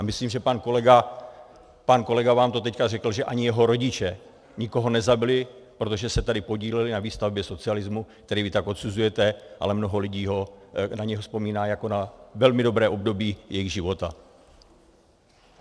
A myslím, že pan kolega vám to teď řekl, že ani jeho rodiče nikoho nezabili, protože se tady podíleli na výstavbě socialismu, který vy tak odsuzujete, ale mnoho lidí na něj vzpomíná jako na velmi dobré období jejich života.